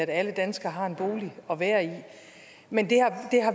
at alle danskere har en bolig at være i men